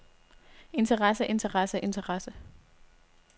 interessse interessse interessse